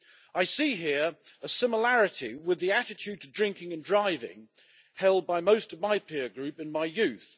I see here a similarity with the attitude to drinking and driving held by most of my peer group in my youth.